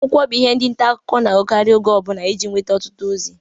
Akwụkwọ bụ ihe ndi nta akụkọ na-agụkari mgbe ọbụla ije nweta ọtụtụ ozi.